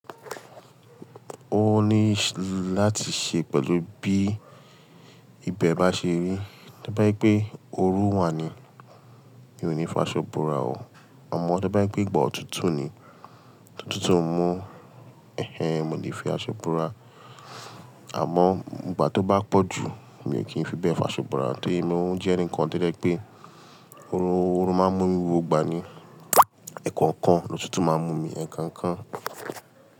O ni láti ṣe pẹ̀lú bí ibẹ̀ bá ṣe rí. To bá ye pé oru wà ni, mi ò ní faṣo bora o. Àmọ́ to bá jebpé ìgbà òtútù ni, tòtútù ń mú-- ẹh ẹh, mo lè fi àṣọ bóra. Àmọ́ ìgbà tó bá pọ̀ jù, mi ò kí ń fi bẹ́ẹ̀ faṣo bora torí mo ń jẹ́ eǹikan to jé pé orun máa ń mú mi gbogba ni. Ẹ̀ẹ̀kọ̀kan, òtútù máa ń mú mi ẹ̀ẹ̀kọ̀kan.